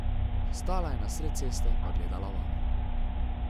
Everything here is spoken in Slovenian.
Stala je na sred ceste pa gledala vame.